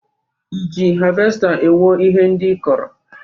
Ị ji havesta ewo ihe ndị ị kọrọ?